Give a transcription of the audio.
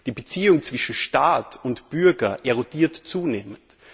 Die Beziehung zwischen Staat und Bürger erodiert zunehmend.